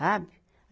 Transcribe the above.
Sabe?